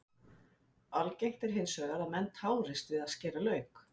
algengt er hins vegar að menn tárist við að skera lauk